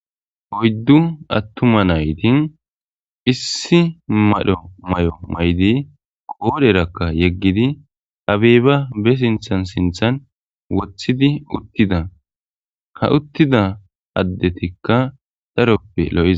Oyddu atuma nayt issi mala mayo mayid qodheraka yegid abeba be sinthan sinthan wothid utida , ha utida adetikka daroppe lo'za.